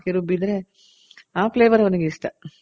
ಎಲ್ಲ ಹಾಕಿ ರುಬ್ಬಿದ್ರೆ ಆ flavour ಅವ್ನಿಗೆ ಇಷ್ಟ